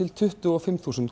tuttugu og fimm þúsund